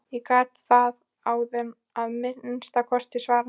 Ég gat það áðan að minnsta kosti, svaraði hann.